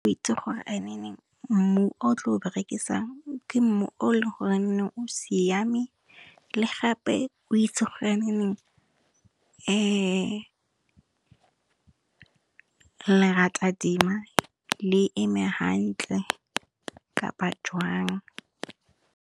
O itse gore mmu o tlo o berekisang ke mmu o leng goreng o siame, le gape o itse gore lerata dima le eme hantle kapa jwang.